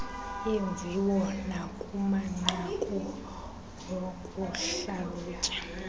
yeemviwo nakumanqaku okuhlalutya